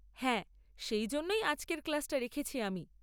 হ্যাঁ, সেই জন্যেই আজকের ক্লাস্টা রেখেছি আমি।